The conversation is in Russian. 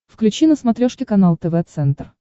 включи на смотрешке канал тв центр